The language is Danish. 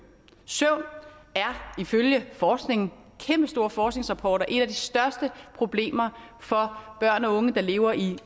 søvn er ifølge forskning kæmpestore forskningsrapporter et af de største problemer for børn og unge der lever i